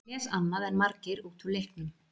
Ég les annað en margir út úr leiknum.